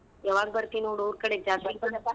ಯಾವಾಗ್ ಬರ್ತಿ ನೋಡ್ ಊರ್ ಕಡೆ ಜಾತ್ರಿ ಬಾ.